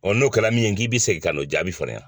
n'o kɛra min ye n k'i bɛ segin ka n'o jaabi fɔ ne ɲɛna